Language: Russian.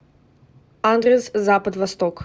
адрес запад восток